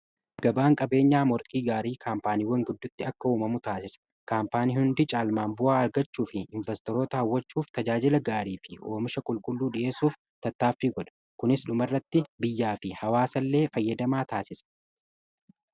gabaan qabeenyaa morkii gaarii kaampaaniiwwan gidduutti akka uumamu taasisa. kaampaaniin hundii caalmaan bu'aa argachuu fi investoroota hawwachuuf tajaajila gaarii fi oomisha qulqulluu dhi'eessuuf tattaaffi godha. kunis dhuma irratti biyyaa fi hawaasa illee fayyadamaa taasisa.